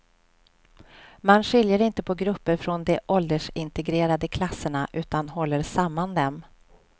Man skiljer inte på grupper från de åldersintegrerade klasserna, utan håller samman dem.